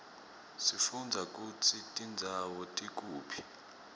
sifundza kutsi tindzawo tikuphi